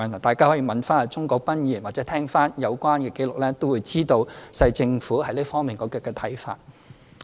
大家可以問鍾國斌議員或重聽有關紀錄，便會知道政府在這方面的看法。